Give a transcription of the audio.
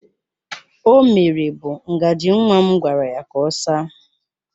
O mere bụ ngaji nwa m gwara ya ka ọ saa